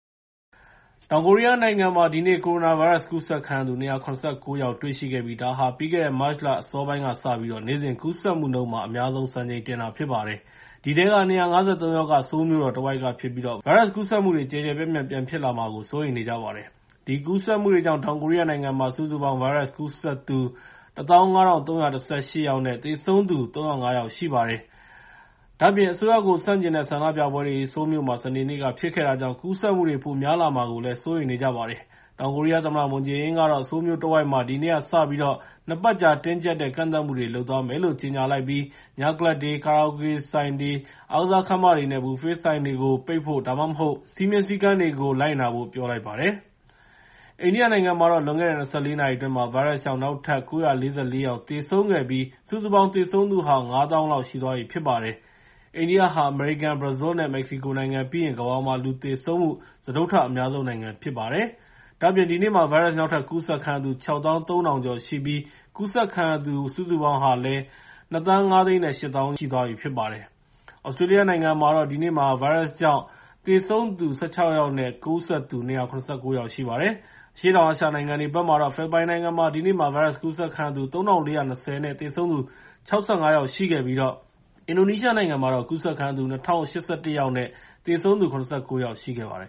တောင်ကိုရီးယားနိုင်ငံမှာ ဒီနေ့ ကိုရိုနာဗိုင်းရပ်စ် ကူးစက်ခံရသူ ၂၇၉ ယောက် တွေ့ရှိခဲ့ပြီး ဒါဟာ ပြီးခဲ့တဲ့ မတ်လအစောပိုင်းကစပြီး နေ့စဉ်ကူးစက်မှုနှုန်းမှာ အများဆုံး စံချိန်တင်တာ ဖြစ်ပါတယ်။ အဲဒီထဲက ၂၅၃ ယောက်က ဆိုးလ်မြို့တော်တဝိုက်ကဖြစ်ပြီး ဗိုင်းရပ်စ်ကူးစက်မှုတွေ ကျယ်ကျယ်ပြန့်ပြန့် ပြန်ဖြစ်လာမှာကို စိုးရိမ်နေကြပါတယ်။ ဒီကူးစက်မှုတွေကြောင့် တောင်ကိုရီးယားနိုင်ငံမှာ စုစုပေါင်း ဗိုင်းရပ်စ်ကူးစက်သူ ၁၅,၃၁၈ ယောက်နဲ့ သေဆုံးသူ ၃၀၅ ယောက်ရှိပါတယ်။ ဒါ့အပြင် အစိုးရကို ဆန့်ကျင်တဲ့ ဆန္ဒပြပွဲတွေ ဆိုးလ်မြို့မှာ စနေနေ့က ဖြစ်ခဲ့တာကြောင့် ကူးစက်မှုတွေ ပိုများလာမှာကို စိုးရိမ်နေကြပါတယ်။ တောင်ကိုရီးယားသမ္မတ Moon Jae-in ကတော့ ဆိုးလ်မြို့တဝိုက်မှာ ဒီနေ့ကစပြီး ၂ ပတ်ကြာ တင်းကျပ်တဲ့ ကန့်သတ်မှုတွေ လုပ်သွားမယ်လို့ ကြေညာလိုက်ပြီး ညကလပ်တွေ၊ ကာရာအိုကေဆိုင်တွေ၊ အားကစားခန်းမတွေနဲ့ ဘူဖေး စားသောက်ဆိုင်တွေကို ပိတ်ဖို့ ဒါမှမဟုတ် စည်းမျဉ်းစည်းကမ်းတွေကို လိုက်နာဖို့ ပြောလိုက်ပါတယ်။ အိန္ဒိယနိုင်ငံမှာတော့ လွန်ခဲ့တဲ့ ၂၄ နာရီအတွင်း ဗိုင်းရပ်စ်ကြောင့် နောက်ထပ် ၉၄၄ ယောက် သေဆုံးပြီး စုစုပေါင်း သေဆုံးသူဟာ ၅၀,၀၀၀ လောက်ရှိသွားပြီ ဖြစ်ပါတယ်။ အိန္ဒိယဟာ အမေရိကန်၊ ဘရာဇီးလ်နဲ့ မက္ကဆီကိုနိုင်ငံပြီးရင် ကမ္ဘာပေါ်မှာ လူသေဆုံးမှု စတုတ္ထအများဆုံးနိုင်ငံ ဖြစ်ပါတယ်။ ဒါ့အပြင် ဒီနေ့မှာ ဗိုင်းရပ်စ် နောက်ထပ်ကူးစက်ခံရသူ ၆၃,၀၀၀ ကျော်ရှိပြီး ကူးစက်ခံရသူ စုစုပေါင်း ၂.၅၈ သန်း ရှိသွားပြီဖြစ်ပါတယ်။ သြစတြေးလျနိုင်ငံမှာတော့ ဒီနေ့မှာ ဗိုင်းရပ်စ်ကြောင့် သေဆုံးသူ ၁၆ ယောက်နဲ့ ကူးစက်သူ ၂၇၉ ယောက်ရှိပါတယ်။ အရှေ့တောင်အာရှနိုင်ငံတွေဘက်မှာတော့ ဖိလစ်ပိုင်နိုင်ငံမှာ ဒီနေ့ ဗိုင်းရပ်စ်ကူးစက်ခံရသူ ၃,၄၂၀ နဲ့ သေဆုံးသူ ၆၅ ယောက်ရှိခဲ့ပြီး အင်ဒိုနီးရှားနိုင်ငံမှာတော့ ကူးစက်ခံရသူ ၂,၀၈၁ ယောက်နဲ့ သေဆုံးသူ ၇၉ ယောက် ရှိခဲ့ပါတယ်